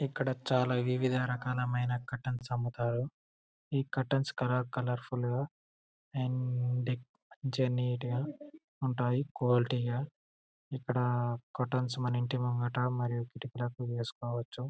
ఇక్కడ చాలా వివిధీ రకాలు ఐనా క్యూరిటైన్స్ అమ్ముతారు ఈ కర్టైన్స్ కలర్ కలర్ ఫుల్ గా అండ్ కొంచం నీట్ గా ఉంటాయి క్వాలిటీ గా ఇక్కడ కర్టైన్స్ మన ఇంటి ముందర మరియు కిటికిలకు వసుకోవచు.